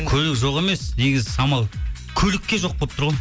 көлік жоқ емес негізі самал көлікке жоқ болып тұр ғой